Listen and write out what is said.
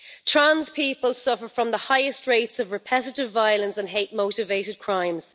Trans people suffer from the highest rates of repetitive violence and hate motivated crimes.